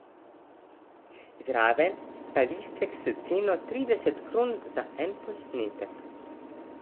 Zraven pa listek s ceno trideset kron za en posnetek.